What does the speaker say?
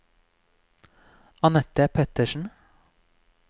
Anette Pettersen